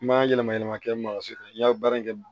N ma yɛlɛma yɛlɛma kɛ fɛ n ga baara in kɛ